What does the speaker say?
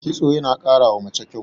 kitso yana karawa mace kyau